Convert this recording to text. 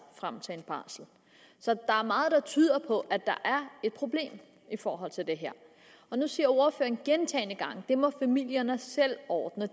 frem til en barsel så der er meget der tyder på at der er et problem i forhold til det her nu siger ordføreren gentagne gange at det må familierne selv ordne